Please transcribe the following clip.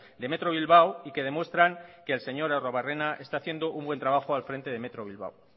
de metro bilbao y que demuestran que el señor arruebarrena está haciendo un buen trabajo al frente de metro bilbao